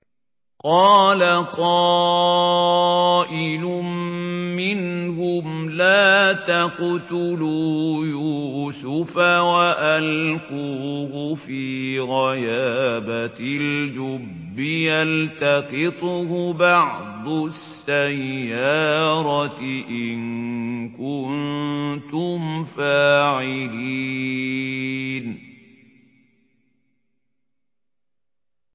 قَالَ قَائِلٌ مِّنْهُمْ لَا تَقْتُلُوا يُوسُفَ وَأَلْقُوهُ فِي غَيَابَتِ الْجُبِّ يَلْتَقِطْهُ بَعْضُ السَّيَّارَةِ إِن كُنتُمْ فَاعِلِينَ